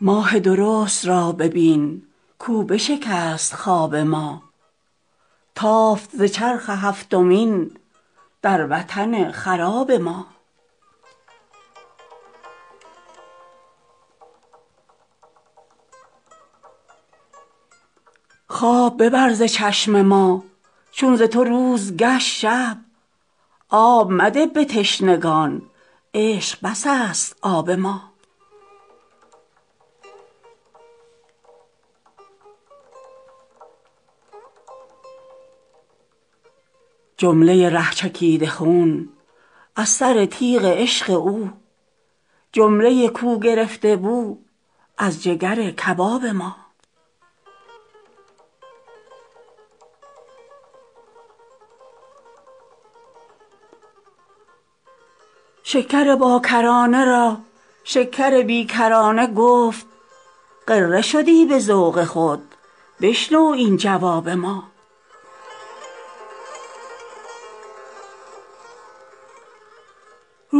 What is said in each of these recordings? ماه درست را ببین کاو بشکست خواب ما تافت ز چرخ هفتمین در وطن خراب ما خواب ببر ز چشم ما چون ز تو روز گشت شب آب مده به تشنگان عشق بس است آب ما جمله ی ره چکیده خون از سر تیغ عشق او جمله ی کو گرفته بو از جگر کباب ما شکر باکرانه را شکر بی کرانه گفت غره شدی به ذوق خود بشنو این جواب ما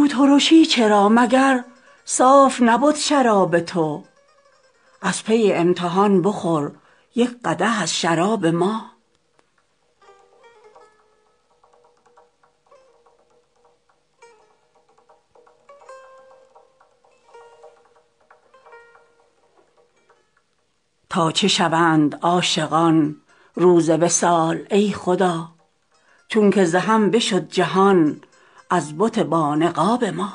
روترشی چرا مگر صاف نبد شراب تو از پی امتحان بخور یک قدح از شراب ما تا چه شوند عاشقان روز وصال ای خدا چونک ز هم بشد جهان از بت بانقاب ما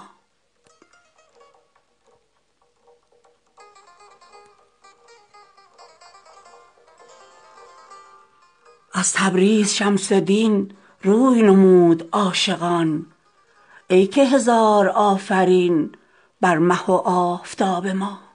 از تبریز شمس دین روی نمود عاشقان ای که هزار آفرین بر مه و آفتاب ما